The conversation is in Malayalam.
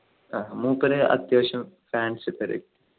ആഹ് മൂപ്പര് അത്യാവശ്യം